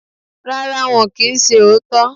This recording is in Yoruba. Rárá, wọn kì í ṣe òótọ́.